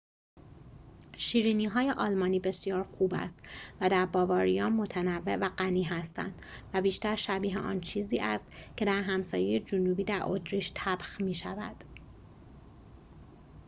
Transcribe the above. شیرینی‌های آلمانی بسیار خوب است و در باواریا متنوع و غنی هستند و بیشتر شبیه آن چیزی است که در همسایه جنوبی در اتریش طبخ می‌شود